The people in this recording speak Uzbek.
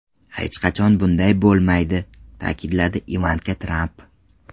Hech qachon bunday bo‘lmaydi”, ta’kidladi Ivanka Tramp.